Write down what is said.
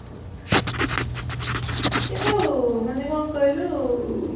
କିନ୍ତୁ ମାନେ କ'ଣ କହିଲୁ